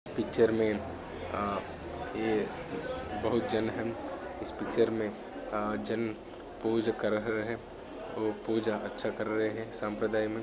Picture मे ये बहुत जान है इस पिच्चर मे जन पूज कर रहा है पूजा याचा कर रहे है साप्रदाय में।